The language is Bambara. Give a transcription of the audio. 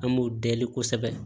An m'o deli kosɛbɛ